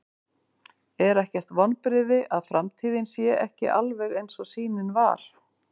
Er ekkert vonbrigði að framtíðin sé ekki alveg eins og sýnin var?